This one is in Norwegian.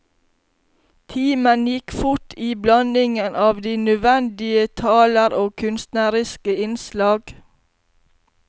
Timen gikk fort i blandingen av de nødvendige taler og kunstneriske innslag.